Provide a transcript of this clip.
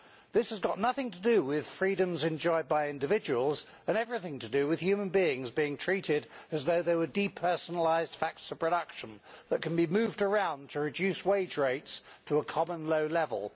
This has got nothing to do with freedoms enjoyed by individuals and everything to do with human beings being treated as though they were depersonalised facts of production that can be moved around to reduce wage rates to a common low level.